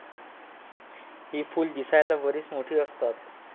ही फुलं दिसायला बरीच मोठी असतात.